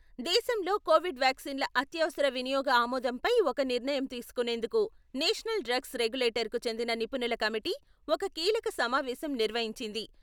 దేశంలో కోవిడ్ వ్యాక్సిన్‌ల అత్యవసర వినియోగ ఆమోదంపై ఒక నిర్ణయం తీసుకునేందుకు నేషనల్ డ్రగ్స్ రెగులేటర్‌కు చెందిన నిపుణుల కమిటీ ఒక కీలక సమావేశం నిర్వహించింది.